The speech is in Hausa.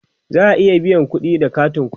za'a iya biyan kudi da katin ƙuɗi